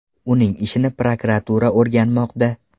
Uning ishini prokuratura o‘rganmoqda.